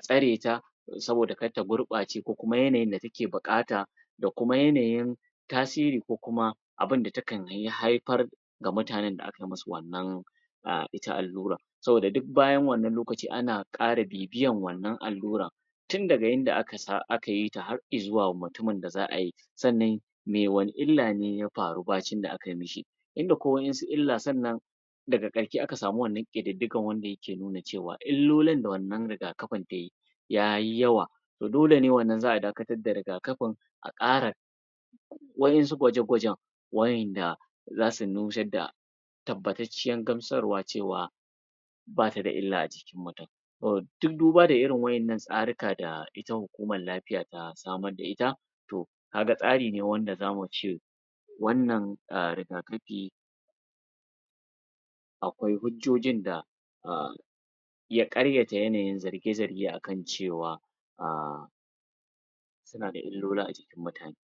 tsareta saboda kar ta gurɓace ko kuma yanayin take buƙata da kuma yanayin tasiri ko kuma abinda takan haifar ga mutanen da kai masu ita allurar saboda duk bayan wannan lokaci ana ƙara bibiyar wannan allurar tun daga yadda aka yi ta har izuwa mutumin da za ai sannan sannan me wane illa ne ya faru bacin da akai mishi in da kwai wasu illa sannan daga ƙarshe aka samu wannan ƙididdiga wanda ke nuna cewa illolan da wannan rigakafin ta yi ya yi yawa to dole ne wannan za a dakatar da riga kafin a ƙara wa'yansu gwaje- gwajen wa'yanda za su nusar da tabbatacciyar gamsarwa cewa bata da illa a jikin mutum tun duba da irin wannan tsarika da ita hukumar lafiya ta samar da ita to ga tsari ne wanda za mu ce wannan rigakafi akwai hujjojin da a ya ƙaryata yanayin zarge-zarge a kan cewa a suna da illola a jikin mutane